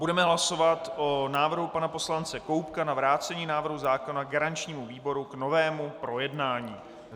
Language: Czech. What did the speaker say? Budeme hlasovat o návrhu pana poslance Koubka na vrácení návrhu zákona garančnímu výboru k novému projednání.